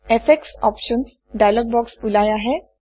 effects options dialog box ওলাই আহে